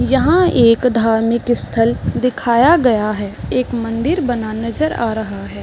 यहाँ एक धार्मिक स्थल दिखाया गया है एक मंदिर बना नज़र आ रहा है।